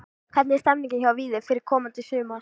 Hvernig er stemningin hjá Víði fyrir komandi sumar?